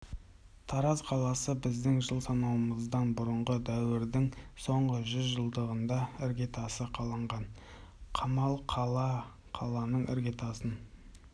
тараз қаласы біздің жыл санауымыздан бұрынғы дәуірдің соңғы жүз жылдығында іргетасы қаланған қамал қала қаланың іргетасын